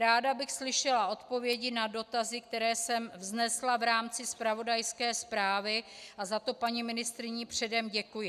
Ráda bych slyšela odpovědi na dotazy, které jsem vznesla v rámci zpravodajské zprávy, a za to paní ministryni předem děkuji.